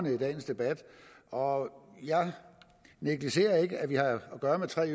i dagens debat og jeg negligerer ikke at vi har at gøre med tre